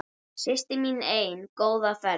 Systir mín ein, góða ferð.